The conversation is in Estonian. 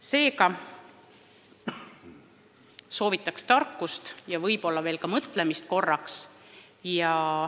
Seega soovitan tegijail veel kord kõik läbi mõelda.